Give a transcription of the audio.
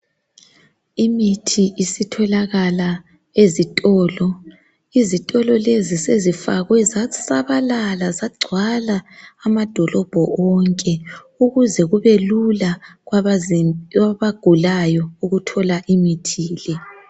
Imithi isitholakala ezitolo. Izitolo lezi sezifakwe zasabalala zagcwala amadolobho onke ukuze kubelula kwabagulayo ukuthola imithi le.